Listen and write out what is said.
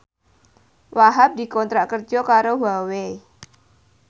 Wahhab dikontrak kerja karo Huawei